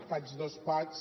faig dos packs